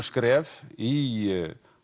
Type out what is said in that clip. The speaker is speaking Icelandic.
skref í